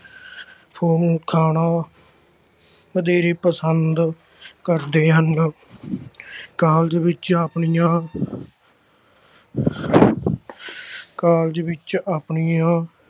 ਖਾਣਾ ਵਧੇਰੇ ਪਸੰਦ ਕਰਦੇ ਹਨ college ਵਿੱਚ ਆਪਣੀਆਂ college ਵਿੱਚ ਆਪਣੀਆਂ